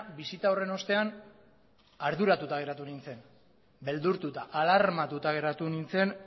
bisita horren ostean arduratuta geratu nintzen beldurtuta alarmatuta geratu nintzen